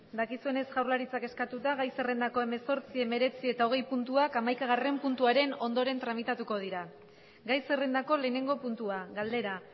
dakisones jaurlaitza eskatuta gai zerrendako emesortzi emeretzi eta ogei puntua amaikagaren puntuaren ondoren tramitatuko dira gai zerrendako lehenengo puntua galdera